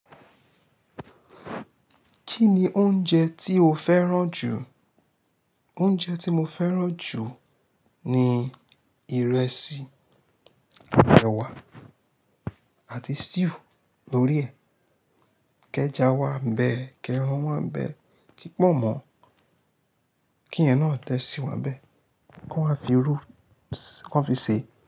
Kí ni oúnjẹ tí o fẹ́ràn jù? Oúnjẹ tí mo fẹ́ràn jù ni ìrẹsì, àti ewa àti stew lórí ẹ̀. Kẹja wa ń bẹ, kẹran wá ń bẹ, ki pọ́nmo kí yen náà de síwà n be Kó waa fi irú kó fi ṣe.